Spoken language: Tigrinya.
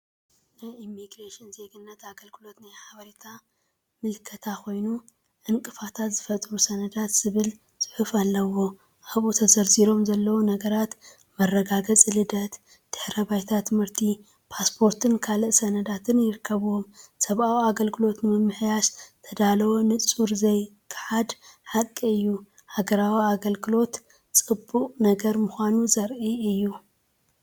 ናይ ኢሚግሬሽንን ዜግነትን ኣገልግሎት ናይ ሓበሬታ ምልክታ ኮይኑ፡“ዕንቅፋታት ዝፈጥሩ ሰነዳት”ዝብል ጽሑፍ ኣለዎ። ኣብኡ ተዘርዚሮም ዘለዉ ነገራት፡መረጋገጺ ልደት፡ድሕረ ባይታ ትምህርቲ፣ ፓስፖርትን ካልእ ሰነዳትን ይርከብዎም። ሰብኣዊ ኣገልግሎት ንምምሕያሽ ዝተዳለወ ንጹርን ዘይከሓድን ሓቂ እዩ ሃገራዊ ኣገልግሎት ጽቡቕ ነገር ምዃኑ ዘርኢ እዩ።